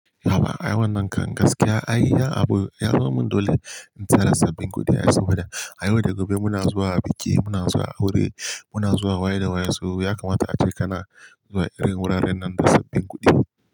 Haba, ai wannan kan gaskiya, ai ya abu ya zo min dole in tara sabbin kuɗi, ya yi saboda da a yau da gobe muna zuwa biki, muna zuwa aure, muna zuwa waye da waye, sai ya kamata ace kana zuwa irin wuraren nan da sabbin kuɗi.